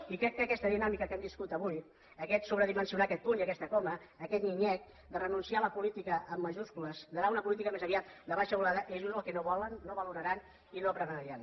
i crec que aquesta dinàmica que hem viscut avui aquest sobredimensionar aquest punt i aquesta coma aquest nyic nyec de renunciar a la política en majúscules d’anar a una política més aviat de baixa volada és just el que no volen no valoraran i no premiaran